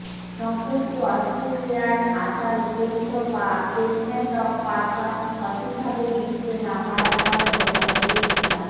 সম্প্রতি অস্ট্রেলিয়ার আসার উদ্দেশ্য বা স্টেটমেন্ট অব পারপাস সঠিকভাবে লিখতে না পারার কারণে অনেকের ভিসা